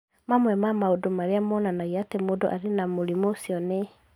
Mamwe ma maũndũ marĩa monanagia atĩ mũndũ arĩ na mũrimũ ũcio nĩ: